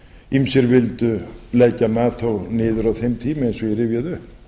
ýmsir vildu leggja nato niður á þeim tíma eins og ég rifjaði upp